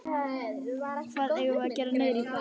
Hvað eigum við að gera niðri í bæ?